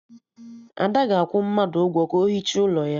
Ada ga-akwụ mmadụ ụgwọ ka o hichaa ụlọ ya